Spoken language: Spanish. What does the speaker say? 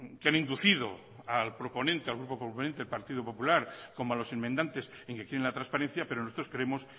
que han inducido al proponente al grupo proponente al partido popular como a los enmendantes en que quieren la transparencia pero nosotros creemos